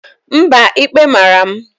Mba, ikpe mara m.